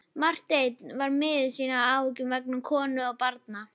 Marteinn var miður sín af áhyggjum vegna konu og barna.